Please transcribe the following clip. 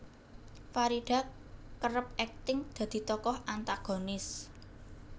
Farida kerep akting dadi tokoh antagonis